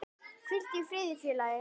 Hvíldu í friði félagi.